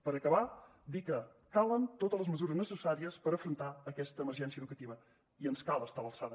per acabar dir que calen totes les mesures necessàries per afrontar aquesta emergència educativa i ens cal estar a l’alçada